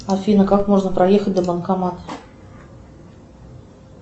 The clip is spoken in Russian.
афина как можно проехать до банкомата